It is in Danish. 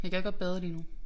Jeg gad godt bade lige nu